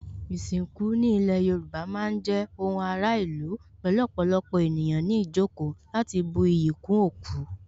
Ìsìnkú ní ilé Yorùbá má ń jẹ́ ohun ara ìlú pẹ̀lú ọ̀pọ̀lọpọ̀ ènìyàn ní ìjókòó láti bu iyì kún òkú